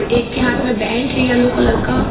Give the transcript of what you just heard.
एक के हाथ में बैंड है येलो कलर का।